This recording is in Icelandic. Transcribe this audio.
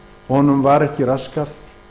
honum var ekki raskað